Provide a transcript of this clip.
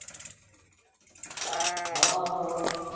હાં હાં હાં